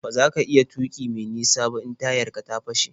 Ba za ka iya tuƙi me nisa ba in tayar ka ta fashe.